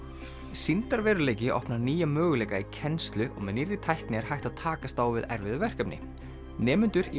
sýndarveruleiki opnar nýja möguleika í kennslu og með nýrri tækni er hægt að takast á við erfið verkefni nemendur í